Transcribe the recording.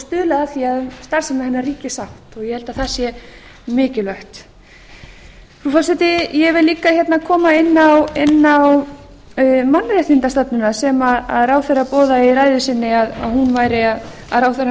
stuðlað að því að um starfsemi hennar ríki sátt og ég held að það sé mikilvægt frú forseti ég vil líka hérna koma inn á mannréttindastefnuna sem ráðherra boðaði í ræðu sinni að ráðherrann